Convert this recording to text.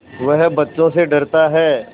वह बच्चों से डरता है